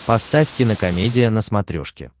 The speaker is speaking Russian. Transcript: поставь кинокомедия на смотрешке